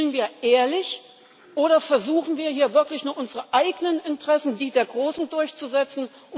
Spielen wir ehrlich oder versuchen hier wirklich nur unsere eigenen Interessen, die der Großen, durchzusetzen?